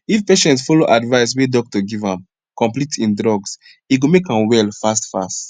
if patients follow advise we doctor give am complete im drugs e go make am well fast fast